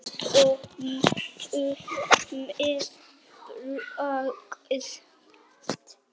Pompuð með pragt.